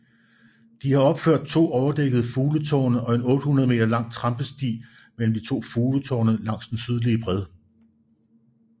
De har opført to overdækkede fugletårne og en 800 meter lang trampesti mellem de to fugletårne langs den sydlige bred